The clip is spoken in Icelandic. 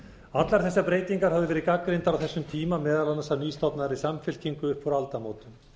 allar þessar breytingar höfðu verið gagnrýndar á þessum tíma meðal annars af nýstofnaðri samfylkingu upp úr aldamótum